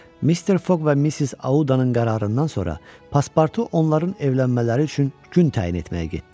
Mister Foq və Missis Audanın qərarından sonra Paspartu onların evlənmələri üçün gün təyin etməyə getdi.